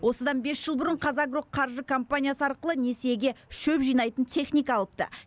осыдан бес жыл бұрын қазагроқаржы компаниясы арқылы несиеге шөп жинайтын техника алыпты